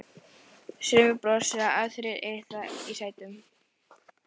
Sumir brosa, aðrir iða í sætunum.